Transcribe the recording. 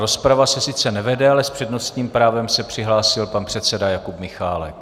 Rozprava se sice nevede, ale s přednostním právem se přihlásil pan předseda Jakub Michálek.